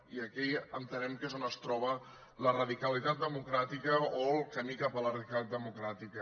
i aquí entenem que és on es troba la radicalitat democràtica o el camí cap a la radicalitat democràtica